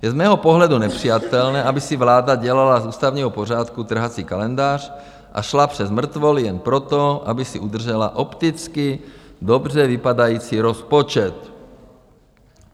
Je z mého pohledu nepřijatelné, aby si vláda dělala z ústavního pořádku trhací kalendář a šla přes mrtvoly jen proto, aby si udržela opticky dobře vypadající rozpočet.